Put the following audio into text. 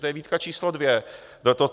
To je výtka číslo dvě.